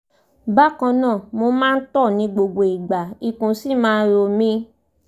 bákan náà mo máa ń tọ̀ ní gbogbo ìgbà ikùn sì máa ń ro mi